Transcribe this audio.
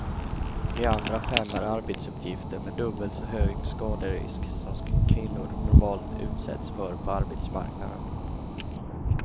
De andra fem är arbetsuppgifter med dubbelt så hög skaderisk som kvinnor normalt utsätts för på arbetsmarknaden.